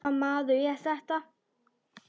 Hvaða maður er þetta?